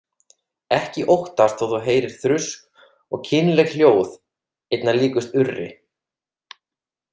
Ekki óttast þó að þú heyrir þrusk og kynleg hljóð, einna líkust urri.